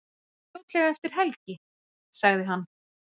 Fljótlega eftir helgi, sagði hann.